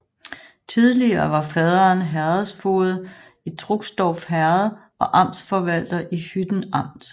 Tidligere var faderen herredsfoged i Struxdorf Herred og amtsforvalter i Hytten Amt